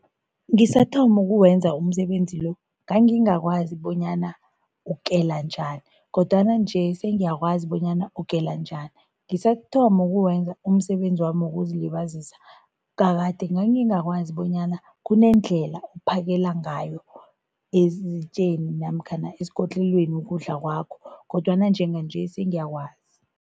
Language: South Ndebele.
Ngisathoma ukuwenza umsebenzi lo, ngangingakwazi bonyana ukela njani kodwana nje sengiyakwazi bonyana ukela njani. Ngisathoma ukuwenza umsebenzi wami wokuzilibazisa, kade ngangikwazi bonyana kunendlela okuphakela ngayo ezitjeni namkhana esikotlelweni ukudla kwakho kodwana njenganje sengiyakwazi.